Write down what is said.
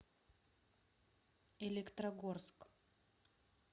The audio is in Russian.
электрогорск